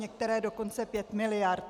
Některé dokonce 5 miliard.